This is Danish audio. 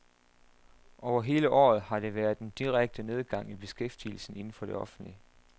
Over hele året har der været en direkte nedgang i beskæftigelsen inden for det offentlige.